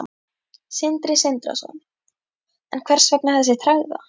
Sindri Sindrason: En hvers vegna þessi tregða?